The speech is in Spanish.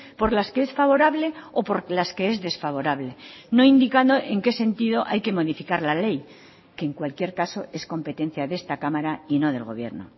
por las que es favorable o por las que es desfavorable no indicando en qué sentido hay que modificar la ley que en cualquier caso es competencia de esta cámara y no del gobierno